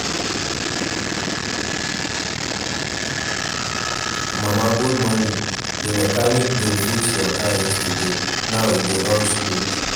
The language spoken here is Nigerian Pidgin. Mama good morning, di mechanic bin fix your car yesterday, now e dey run smooth.